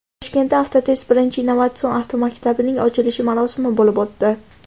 Toshkentda Avtotest birinchi innovatsion avtomaktabining ochilish marosimi bo‘lib o‘tdi.